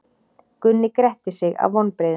Gunni gretti sig af vonbrigðum.